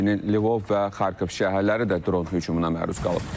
Həmçinin Lvov və Xarkov şəhərləri də dron hücumuna məruz qalıb.